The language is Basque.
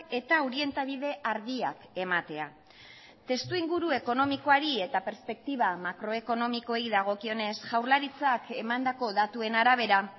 eta orientabide argiak ematea testuinguru ekonomikoari eta perspektiba makroekonomikoei dagokionez jaurlaritzak emandako datuen arabera